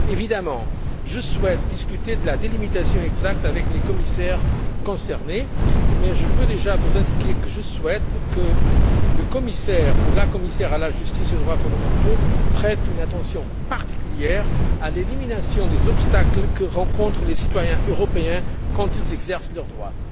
Évidemment, je souhaite discuter de la délimitation exacte avec les commissaires concernés, mais je peux déjà vous indiquer que je souhaite que le commissaire ou la commissaire à la justice et aux droits fondamentaux prête une attention particulière à l'élimination des obstacles que rencontrent les citoyens européens quand ils exercent leurs droits.